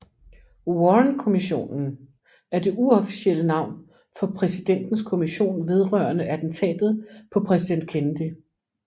Warrenkommissionen er det uofficielle navn for Præsidentens kommission vedrørende attentatet på præsident Kennedy